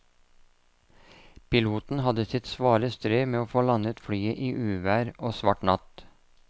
Piloten hadde sitt svare strev med å få landet flyet i uvær og svart natt.